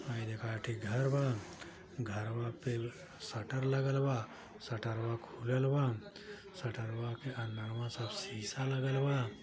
High देख एक ठी घर बा घरवा पे शटर लगल बा शटरवा खुललबा शटरवा की अंदरवा शीशा लगल बा।